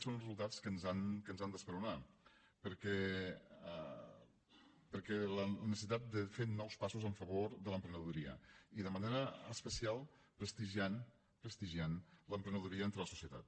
són els resultats que ens han d’esperonar en la necessitat de fer nous passos en favor de l’emprenedoria i de manera especial prestigiant prestigiant l’emprenedoria entre la societat